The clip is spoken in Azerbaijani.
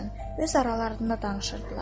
Öz aralarında danışırdılar.